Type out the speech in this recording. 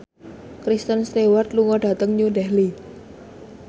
Kristen Stewart lunga dhateng New Delhi